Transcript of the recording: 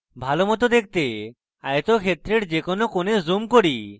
আমার ভালোমত দেখতে আয়তক্ষেত্রের যে কোনো কোণে zoomin করি